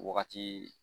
Wagati